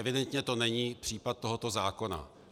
Evidentně to není případ tohoto zákona.